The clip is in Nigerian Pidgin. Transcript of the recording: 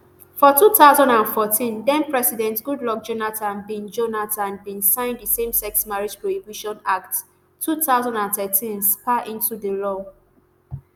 for two thousand and fourteen thenpresident goodluck jonathan bin jonathan bin sign di same sex marriage prohibition act two thousand and thirteen ssmpa into law